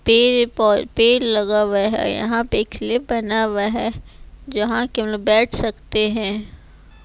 पौ पेड़ लगा हुआ है यहां पे ख्लिप बना हुआ है जहां की हमलोग बैठ सकते हैं।